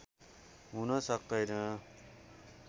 हुन सक्तैन